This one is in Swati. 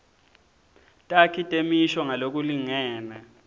takhi temisho ngalokulingene